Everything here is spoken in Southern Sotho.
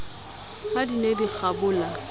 ha di ne di kgabola